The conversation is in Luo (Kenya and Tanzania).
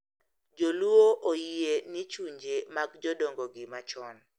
Jo-Luo oyie ni chunje mag jodongogi machon .